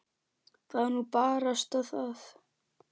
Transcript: Það er nú barasta það.